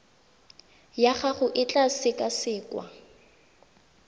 ya gago e tla sekasekwa